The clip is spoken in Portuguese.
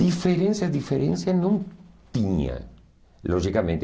Diferenças, diferenças não tinha, logicamente.